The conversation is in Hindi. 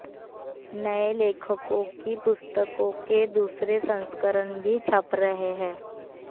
नये लेखकों की पुस्तकों के दूसरे संस्करण भी छप रहे हैं